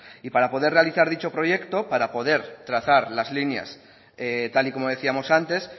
y para poder realizar dicho proyecto para poder trazar las líneas tal y como decíamos antes